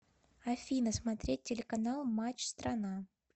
афина смотреть телеканал матч страна